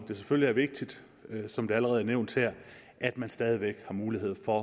det selvfølgelig vigtigt som det allerede nævnt her at man stadig væk har mulighed for